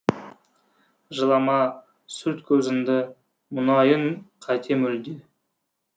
жылама сүрт көзіңді мұңаюың қате мүлде